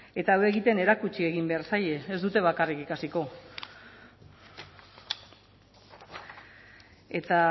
eta hau egiten erakutsi egin behar zaie ez dute bakarrik ikasiko eta